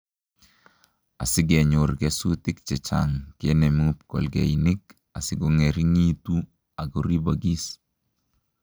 Asi kenyor kesutik che chang' ,kenemu pkolkeinik asikongering'itu akoribokis